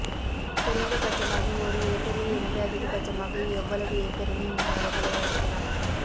குறைந்த பட்சமாக ஒரு ஏக்கரில் இருந்து அதிகபட்சமாக எவ்வளவு ஏக்கரிலும் இம்மரங்களை வளர்க்கலாம்